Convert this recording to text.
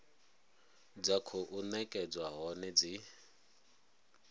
dza khou nekedzwa hone dzi